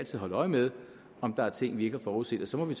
skal holde øje med om der er ting vi ikke har forudset og så må vi